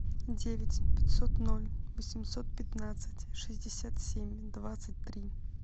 девять пятьсот ноль восемьсот пятнадцать шестьдесят семь двадцать три